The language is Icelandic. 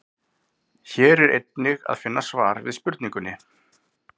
Hér er einnig að finna svar við spurningunni: